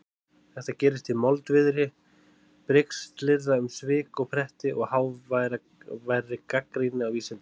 Þetta gerist í moldviðri brigslyrða um svik og pretti og háværri gagnrýni á vísindin.